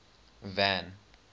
van